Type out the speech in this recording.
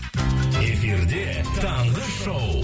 эфирде таңғы шоу